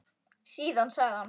Síðan sagði hann